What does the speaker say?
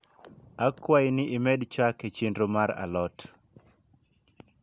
akwai ni imed chak e chenro mar a lot